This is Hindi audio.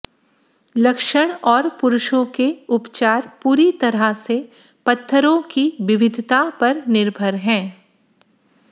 लक्षण और पुरुषों के उपचार पूरी तरह से पत्थरों की विविधता पर निर्भर हैं